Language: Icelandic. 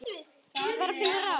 Við verðum að finna ráð.